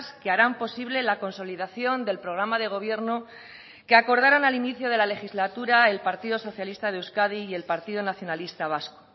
que harán posible la consolidación del programa de gobierno que acordaron al inicio de la legislatura el partido socialista de euskadi y el partido nacionalista vasco